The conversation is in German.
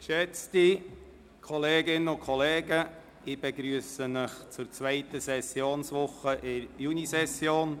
Geschätzte Kolleginnen und Kollegen, ich begrüsse Sie zur zweiten Woche der Junisession.